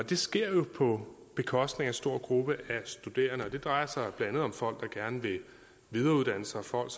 det sker jo på bekostning af en stor gruppe af studerende det drejer sig blandt andet om folk der gerne vil videreuddanne sig folk